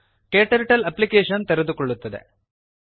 KTurtle application ತೆರೆದುಕೊಳ್ಳುತ್ತದೆ